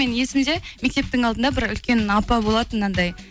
менің есімде мектептің алдында бір үлкен апа болатын анадай